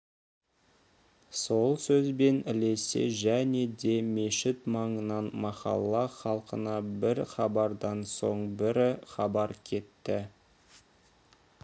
сол сөзбен ілесе және де мешіт маңынан махалла халқына бір хабардан соң бір хабар кетті